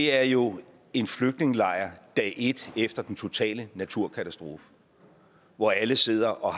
er jo en flygtningelejr dag et efter den totale naturkatastrofe hvor alle sidder og